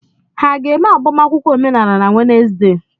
Ha ga-eme agbamakwụkwọ omenala na Wenesde?